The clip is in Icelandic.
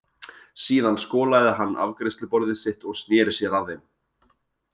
Síðan skolaði hann afgreiðsluborðið sitt og sneri sér að þeim.